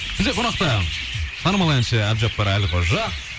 бізде қонақта танымал әнші әбдіжаппар әлқожа